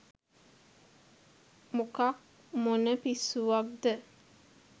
මොකක් මොන පිස්සුවක්ද